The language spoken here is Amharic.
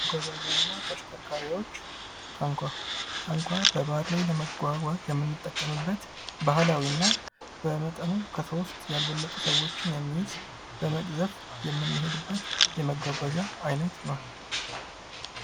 መጓጓዣ እና ተሽከርካሪዎች ፦ ታንኳ ፦ታንኳ በባህር ላይ ለመጓጓዝ የምንጠቀምበት ባህላዊ እና በመጠኑ ከሶስት ያልበለጡ ሰዎችን የሚይዝ በመቅዘፍ የምንሄድበት የመጓጓዣ አይነት ነው ።